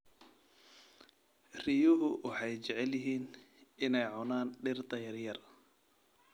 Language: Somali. Riyuhu waxay jecel yihiin inay cunaan dhirta yaryar.